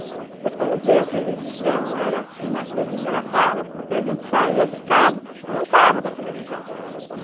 Depois, quando veio a televisão, era assim uma coisa engraçada, porque a gente saía de casa e entrava na televisão.